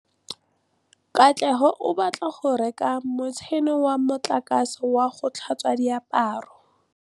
Katlego o batla go reka motšhine wa motlakase wa go tlhatswa diaparo.